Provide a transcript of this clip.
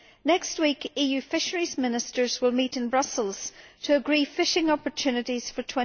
Next week EU fisheries ministers will meet in Brussels to agree fishing opportunities for